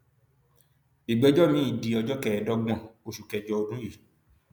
ìgbẹjọ miín di ọjọ kẹẹẹdọgbọn oṣù kẹjọ ọdún yìí